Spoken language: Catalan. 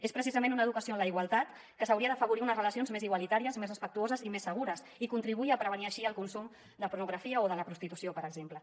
és precisament una educació en la igualtat que hauria d’afavorir unes relacions més igualitàries més respectuoses i més segures i contribuir a prevenir així el consum de pornografia o de la prostitu·ció per exemple